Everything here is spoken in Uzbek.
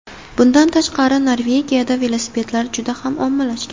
Bundan tashqari Norvegiyada velosipedlar juda ham ommalashgan.